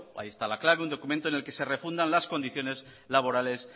ahí está la clave en el que se refunda las condiciones laborales